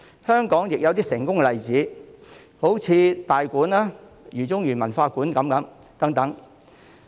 香港亦有一些成功的例子，例如大館和饒宗頤文化館等。